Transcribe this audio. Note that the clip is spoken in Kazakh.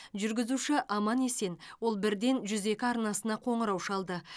жүргізуші аман есен ол бірден жүз екі арнасына қоңырау шалды